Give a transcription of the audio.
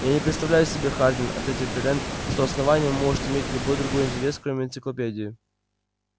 я не представляю себе хардин ответил пиренн что основание может иметь любой другой интерес кроме энциклопедии